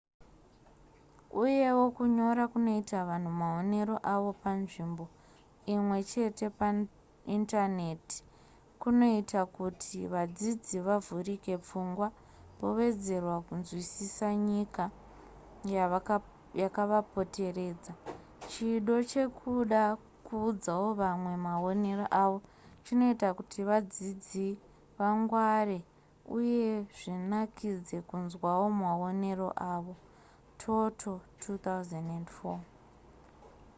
uyewo kunyora kunoita vanhu maonero avo panzvimbo imwe chete paindaneti kunoita kuti vadzidzi vavhurike pfungwa vowedzera kunzwisisa nyika yakavapoteredza. chido chekuda kuudzawo vamwe maonero avo chinoita kuti vadzidzi vangware uye zvinakidze kunzwawo maonero avo. toto 2004